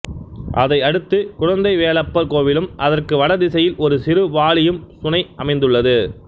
அதை அடுத்து குழந்தைவேலப்பர் கோவிலும் அதற்கு வட திசையில் ஒரு சிறு பாலியும் சுனைஅமைந்துள்ளது